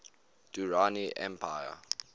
durrani empire